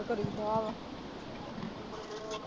ਤੇ ਕਰੀ ਜਾ ਵਾਂ।